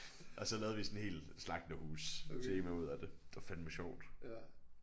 Og så lavede vi sådan hel slagterhustema ud af det det var fandeme sjovt